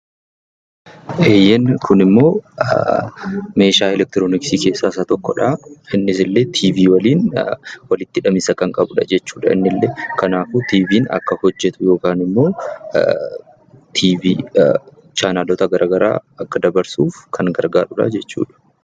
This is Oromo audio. Inni kun immoo meeshaa "elekitroniksii" keessaa isa tokkodha. Innis illee "Tiivii" waliin walitti hidhamiinsa kan qabudha jechuudha. Kanaafu Tiiviin akka hojjetu yookaan ammo tiiviin chaanaaloota kan biraa akka dabarsu kan gargaarudha.